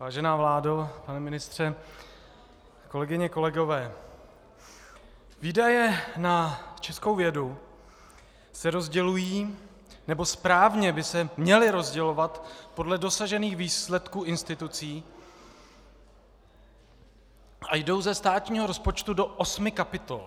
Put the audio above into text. Vážená vládo, pane ministře, kolegyně, kolegové, výdaje na českou vědu se rozdělují, nebo správně by se měly rozdělovat podle dosažených výsledků institucí a jdou ze státního rozpočtu do osmi kapitol.